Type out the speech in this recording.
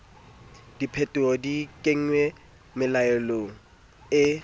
diphetoho di kenngwe melaong e